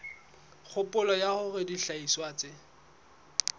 kgopolo ya hore dihlahiswa tse